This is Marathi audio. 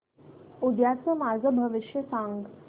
उद्याचं माझं भविष्य सांग